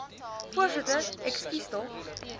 voorsitter ekskuus tog